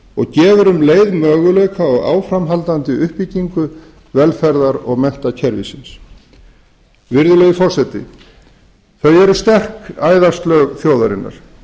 og gefur um leið möguleika á áframhaldandi uppbyggingu velferðar og menntakerfisins virðulegi forseti þau eru sterk æðaslög þjóðarinnar